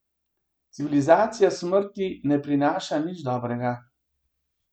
Civilizacija smrti ne prinaša nič dobrega.